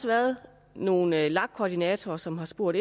været nogle lag koordinatorer som har spurgt